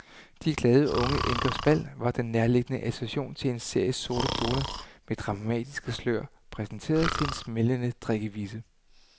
De glade, unge enkers bal var den nærliggende association til en serie sorte kjoler med dramatiske slør præsenteret til en smældende drikkevise.